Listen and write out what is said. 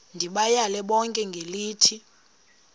ndibayale bonke ngelithi